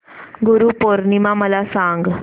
गुरु पौर्णिमा मला सांग